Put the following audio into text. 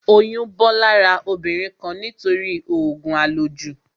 Oyún bọ́ lára obìnrin kan nítorí òògùn à lò jù